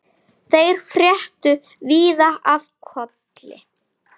Þeir fréttu víða af Kolli.